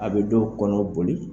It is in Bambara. A be dɔw kɔnɔ boli